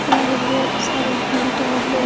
यहां पे बहुत ही सारे ग्रीन टोमेटो है।